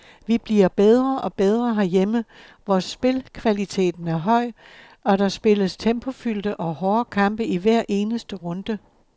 Vi bliver bedre og bedre herhjemme, hvor spilkvaliteten er høj, og der spilles tempofyldte og hårde kampe i hver eneste runde.